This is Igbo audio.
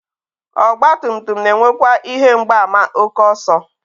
Ọgbatumtum na-enwekwa ihe mgbaàmà ókè ọsọ